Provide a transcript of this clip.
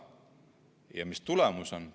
Ja mis tulemus on?